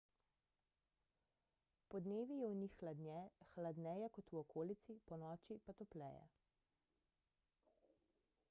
podnevi je v njih hladneje kot v okolici ponoči pa topleje